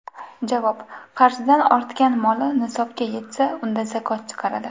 Javob: Qarzidan ortgan moli nisobga yetsa, undan zakot chiqaradi.